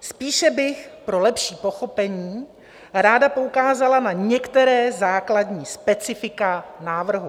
Spíše bych pro lepší pochopení ráda poukázala na některá základní specifika návrhu.